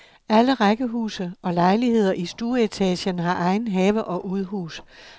Alle rækkehuse og lejligheder i stueetagen har egen have og udhus.